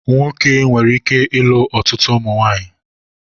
Nwoke nwere ike ilu ọtụtụ ụmụnwaanyị